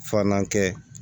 Filanan kɛ